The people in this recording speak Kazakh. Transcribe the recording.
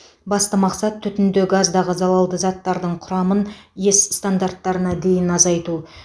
басты мақсат түтінді газдағы залалды заттардың құрамын ес стандарттарына дейін азайту